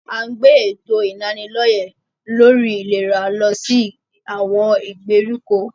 À ń gbé èto ìlanilọ́yẹ̀ lórí ìlera lọ sí àwọn ìgbèríko.